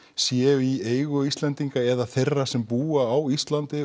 séu í eigu Íslendinga eða þeirra sem búa á Íslandi